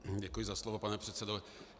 Děkuji za slovo, pane předsedo.